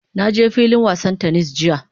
Na je filin wasan "tennis" jiya.